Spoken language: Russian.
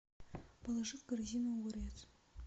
положи в корзину огурец